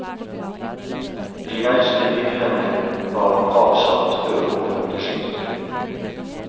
De eldste midlene var avsatt før århundreskiftet.